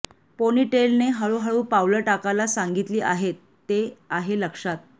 पोनीटेलने हळूहळू पावलं टाकायला सांगितली आहेत ते आहे लक्षात